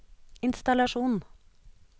innstallasjon